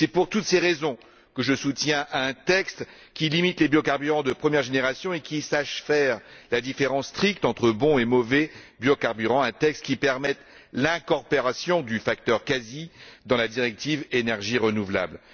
C'est pour toutes ces raisons que je soutiens un texte qui limite les biocarburants de première génération et qui sache faire la différence stricte entre bons et mauvais biocarburants, un texte qui permette l'incorporation du facteur ILUC CASI dans la directive sur les énergies renouvelables.